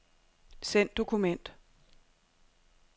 Send dokument.